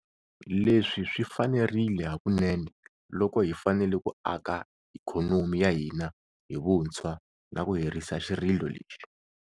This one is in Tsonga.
Leswi swi fanerile hakunene loko hi fanele ku aka ikhonomi ya hina hi vuntshwa na ku herisa xirilo lexi.